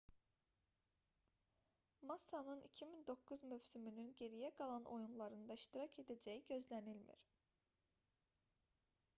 massanın 2009 mövsümünün geriyə qalan oyunlarında iştirak edəcəyi gözlənilmir